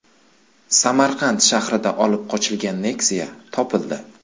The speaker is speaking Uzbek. Samarqand shahrida olib qochilgan Nexia topildi.